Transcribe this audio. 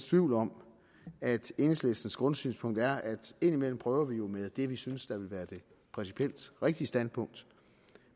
tvivl om at enhedslistens grundsynspunkt er at vi indimellem prøver med det vi synes der ville være det principielt rigtige standpunkt